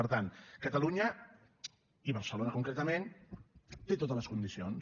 per tant catalunya i barcelona concretament té totes les condicions